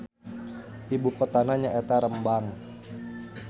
Ibukotana nyaeta Rembang.